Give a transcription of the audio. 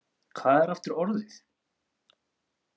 Hvað er aftur orðið?